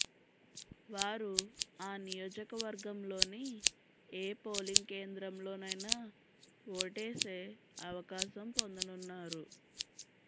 వారు ఆ నియోజకవర్గంలోని ఏ పోలింగ్ కేంద్రంలోనైనా ఓటేసే అవకాశం పొందనున్నారు